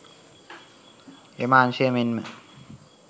එම අංශය මෙන්ම